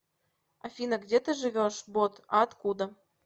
афина где ты живешь бот а откуда